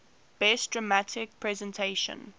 best dramatic presentation